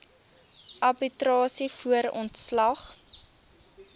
arbitrasie voor ontslag